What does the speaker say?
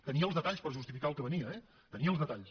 tenia els detalls per justificar el que venia eh en tenia els detalls